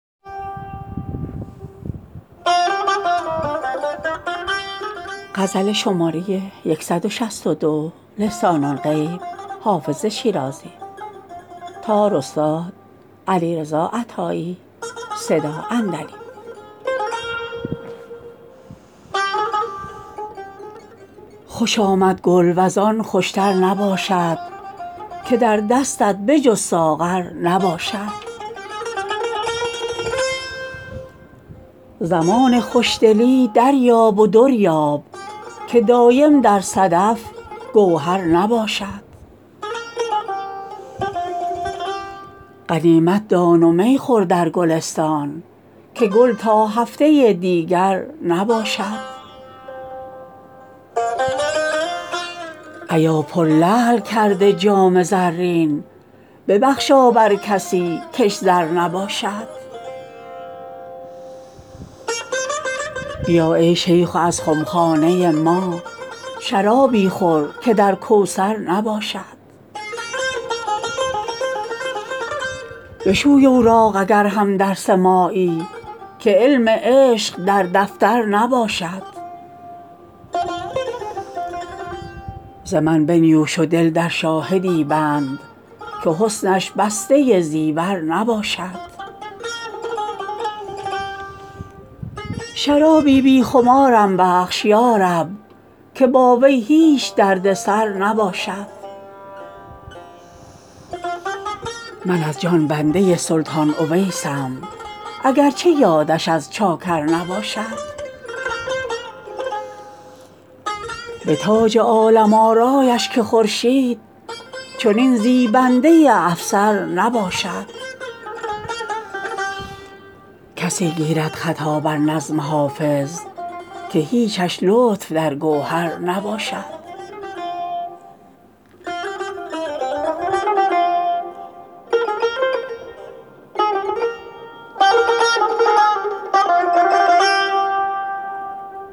خوش آمد گل وز آن خوش تر نباشد که در دستت به جز ساغر نباشد زمان خوش دلی دریاب و در یاب که دایم در صدف گوهر نباشد غنیمت دان و می خور در گلستان که گل تا هفته دیگر نباشد ایا پرلعل کرده جام زرین ببخشا بر کسی کش زر نباشد بیا ای شیخ و از خم خانه ما شرابی خور که در کوثر نباشد بشوی اوراق اگر هم درس مایی که علم عشق در دفتر نباشد ز من بنیوش و دل در شاهدی بند که حسنش بسته زیور نباشد شرابی بی خمارم بخش یا رب که با وی هیچ درد سر نباشد من از جان بنده سلطان اویسم اگر چه یادش از چاکر نباشد به تاج عالم آرایش که خورشید چنین زیبنده افسر نباشد کسی گیرد خطا بر نظم حافظ که هیچش لطف در گوهر نباشد